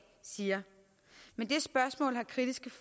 siger med det spørgsmål har kritiske